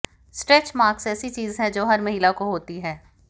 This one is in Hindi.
स्ट्रेच मार्क्स ऐसी चीज़ है जो हर महिला को होती है